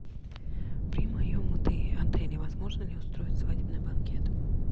при моем отеле возможно ли устроить свадебный банкет